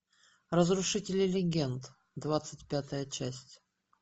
разрушители легенд двадцать пятая часть